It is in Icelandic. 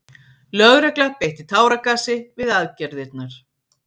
Lögregla beitti táragasi við aðgerðirnar